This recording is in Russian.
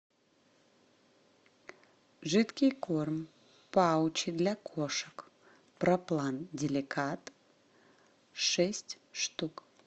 жидкий корм паучи для кошек про план деликат шесть штук